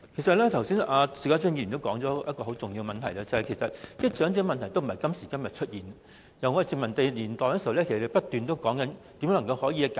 邵家臻議員剛才提到一個很重要的問題，其實長者問題不是今時今日才出現，這個問題在殖民地年代已受到重視，很多人不斷研究如何解決。